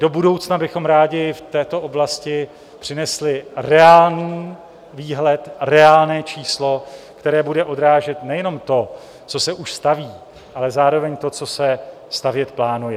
Do budoucna bychom rádi v této oblasti přinesli reálný výhled, reálné číslo, které bude odrážet nejenom to, co se už staví, ale zároveň to, co se stavět plánuje.